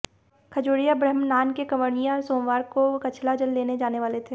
खजुरिया ब्रहम्नान के कांवडि़ये सोमवार को कछला जल लेने जाने वाले थे